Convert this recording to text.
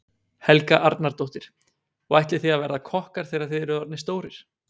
Helga Arnardóttir: Og ætlið þið að verða kokkar þegar þið eruð orðnir stórir?